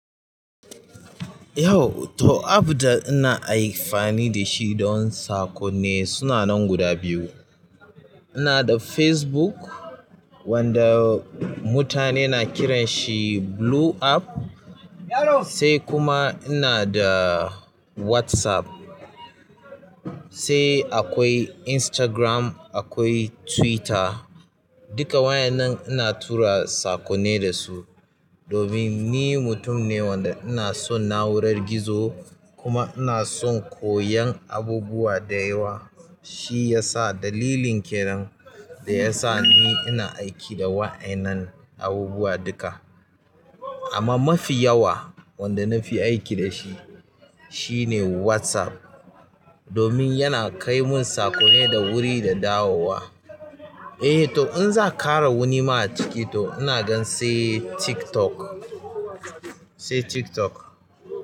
To app ɗin danake amfani dasu sunanan guda biyu ina da Facebook wanda mutane na kiran shi blue app, sai kuma ina da WhatsApp. Sai akwai Instagram, akwai Twitter. Duka wa'yannan ina tura saƙonni da su. Domin ni mutum ne wanda ina son na'urar gizo kuma ina son koyan abubuwa da yawa. Shi ya sa dalilin kenan da ya sa ni ina aiki da wa'yannan abubuwa duka. Amma mafi yawa wanda nafi aiki dashi shine WhatsApp. Domin yana kai mun saƙonni da wuri da dawowa. Eh to inzakara wani ma achiki to sai TikTok.